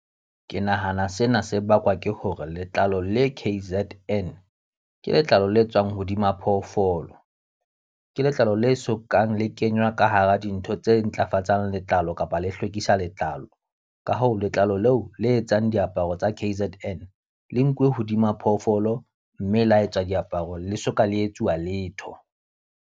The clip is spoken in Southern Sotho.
Ke nahana sena se bakwa ke hore letlalo le K_Z_N, ke letlalo le tswang hodima phoofolo. Ke letlalo le sokang le kenywa ka hara dintho tse ntlafatsang letlalo kapa le hlwekisa letlalo. Ka hoo letlalo leo le etsang diaparo tsa K_Z_N, le nkuwe hodima phoofolo mme la etsa diaparo le soka le etsuwa letho.